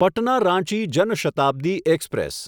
Patna Ranchi Jan Shatabdi express